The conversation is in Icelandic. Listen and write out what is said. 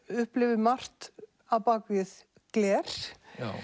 upplifir margt á bak við gler